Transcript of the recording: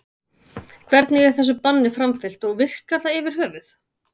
Hvernig er þessu banni framfylgt og virkar það yfir höfuð?